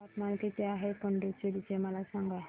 तापमान किती आहे पुडुचेरी चे मला सांगा